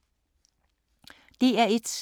DR1